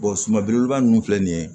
suman belebeleba nunnu filɛ nin ye